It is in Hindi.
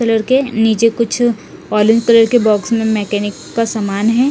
कलर के नीचे कुछ ओलेम कलर का बॉक्स में मेकामिक का सामान है।